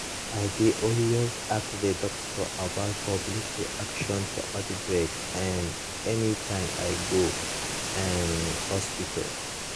i dey always ask the doctor about public reaction to outbreak um anytym i go um hospital